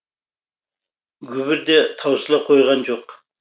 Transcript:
гүбір де таусыла қойған жоқ